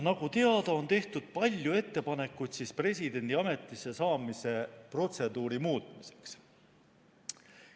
Nagu teada, on tehtud palju ettepanekuid presidendi ametisse saamise protseduuri muutmiseks.